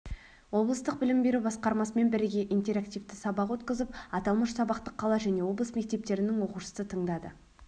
облыстық білім беру басқармасымен біріге интерактивті сабақ өткізіп аталмыш сабақты қала және облыс мектептерінің оқушысы тыңдады